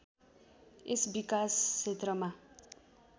यस विकास क्षेत्रमा